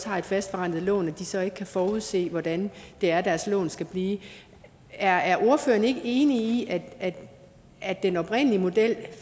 har et fastforrentet lån så ikke kan forudse hvordan det er deres lån skal blive er er ordføreren ikke enig i at at den oprindelige model